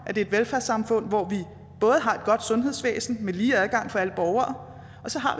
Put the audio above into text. et velfærdssamfund hvor vi både har et godt sundhedsvæsen med lige adgang for alle borgere og så har